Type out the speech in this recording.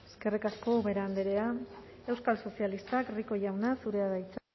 eskerrik asko ubera andrea euskal sozialistak rico jauna zurea da hitza